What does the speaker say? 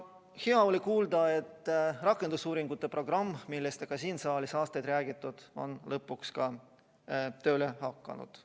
Hea oli kuulda, et rakendusuuringute programm, millest ka siin saalis on aastaid räägitud, on lõpuks tööle hakanud.